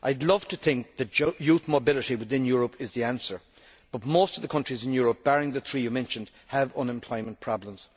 I would love to think that youth mobility within Europe is the answer, but most of the countries in Europe, barring the three you mentioned, have unemployment problems.